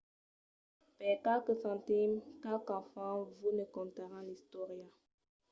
per qualques centims qualques enfants vos ne contaràn l’istòria